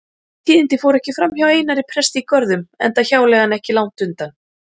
Þessi tíðindi fóru ekki framhjá Einari presti í Görðum enda hjáleigan ekki langt undan.